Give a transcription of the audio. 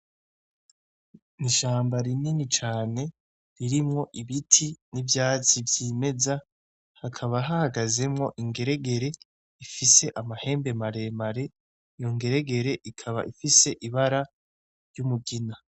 Ni ishamba rinini cane ririmwo ibiti n'ivyatsi vyimeza hakaba hahagazemwo ingeregere ifise amahembe maremare yo ngeregere ikaba ifise ibara ry'umugina.